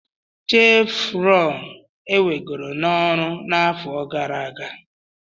Chevron ewegoro n'ọrụ n'afọ gara aga.